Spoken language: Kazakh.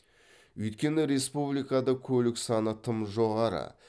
өйткені республикада көлік саны тым жоғары